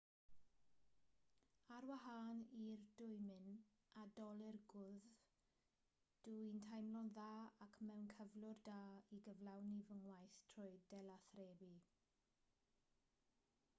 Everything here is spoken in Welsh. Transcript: ar wahân i'r dwymyn a dolur gwddf dw i'n teimlo'n dda ac mewn cyflwr da i gyflawni fy ngwaith trwy delathrebu